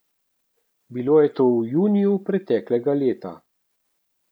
Bilo je to v juniju preteklega leta.